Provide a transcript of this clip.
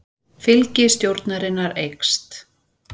Fylgi stjórnarinnar eykst